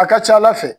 A ka ca ala fɛ